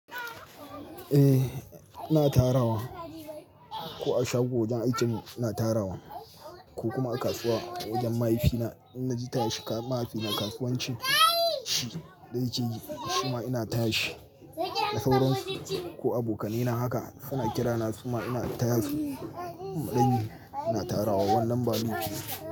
Eh, na tarawa ko a shago wajen aikin na tarawa ko kuma a kasuwa wajen mahaifina, in na ji taya shi mahaifina kasuwancin shi da yake yi, shima ina taya shi. Da sauran ko abokanai na haka suna kira na shima ina taya su maɗayi. Ina tarawa wannan ɓalogi.